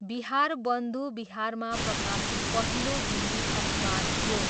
बिहारबन्धु बिहारमा प्रकाशित पहिलो हिन्दी अखबार थियो।